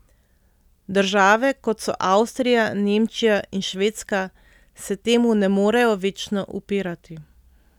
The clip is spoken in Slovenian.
Države, kot so Avstrija, Nemčija in Švedska, se temu ne morejo večno upirati.